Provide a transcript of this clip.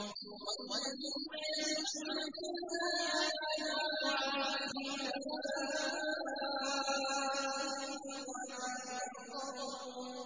وَالَّذِينَ يَسْعَوْنَ فِي آيَاتِنَا مُعَاجِزِينَ أُولَٰئِكَ فِي الْعَذَابِ مُحْضَرُونَ